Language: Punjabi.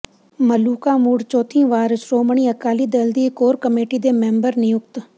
ਮਲੂਕਾ ਮੁੜ ਚੌਥੀ ਵਾਰ ਸ਼ੋ੍ਮਣੀ ਅਕਾਲੀ ਦਲ ਦੀ ਕੋਰ ਕਮੇਟੀ ਦੇ ਮੈਂਬਰ ਨਿਯੁਕਤ